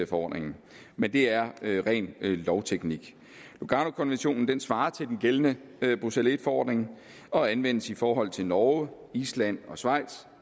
forordningen men det er ren lovteknik luganokonventionen svarer til den gældende bruxelles i forordning og anvendes i forhold til norge island og schweiz